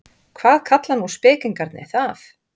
Hvað kalla nú spekingarnir það?